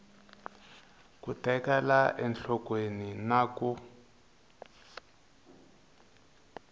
ku tekela enhlokweni na ku